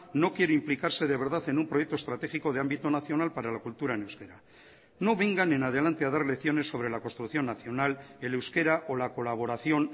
no quiere implicarse de verdad en un proyecto estratégico de ámbito nacional para la cultura en euskera no vengan en adelante a dar lecciones sobre la construcción nacional el euskera o la colaboración